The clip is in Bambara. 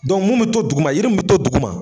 mun be to duguma , yiri mun be to duguma